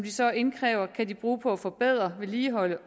så indkræver kan de bruge på at forbedre og vedligeholde